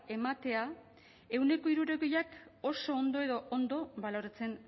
ematea ehuneko hirurogeiak oso ondo edo ondo baloratzen